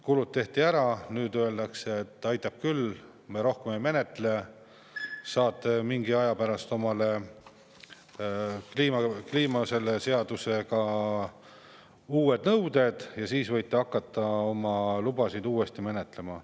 Kulutused tehti ära, nüüd öeldakse, et aitab küll, me rohkem ei menetle, mingi aja pärast saate seadusega kehtestatud uued nõuded ja siis võite hakata uuesti oma lubasid menetlema.